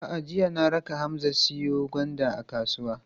A'a, jiya na raka Hamza ya siyo gwanda kasuwa.